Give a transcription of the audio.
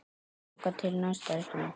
Þangað til næst, elskan mín.